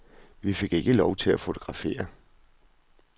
Vi fik ikke lov til at fotografere.